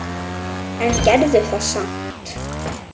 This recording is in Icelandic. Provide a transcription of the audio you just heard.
En gerðu það samt.